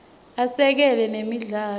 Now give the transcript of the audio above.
asekela nemidlalo